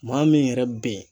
Maa min yɛrɛ bɛ yen.